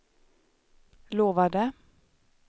lovade